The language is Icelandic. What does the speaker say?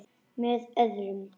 Með orðum.